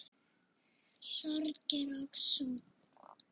Sorgir og sút